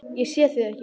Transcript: Ég sé þig ekki.